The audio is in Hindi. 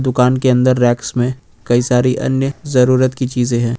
दुकान के अंदर रेक्स में कई सारी अन्य जरूरत की चीजे हैं।